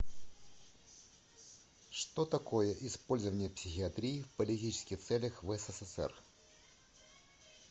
что такое использование психиатрии в политических целях в ссср